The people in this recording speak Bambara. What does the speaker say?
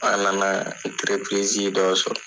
An nana dɔ sɔrɔ.